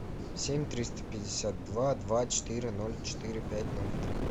семь триста пятьдесят два два четыре ноль четыре пять ноль три